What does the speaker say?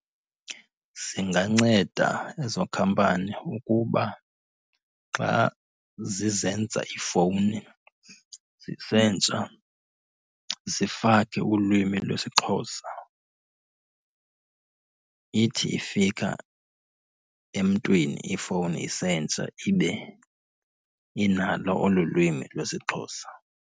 Zinganceda ezo khampani ukuba xa zizenza iifowuni zisentsha zifake ulwimi lwesiXhosa. Ithi ifika emntwini ifowuni isentsha ibe inalo olu lwimi lwesiXhosa.